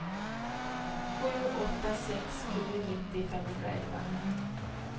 sju åtta sex sju nittio femhundraelva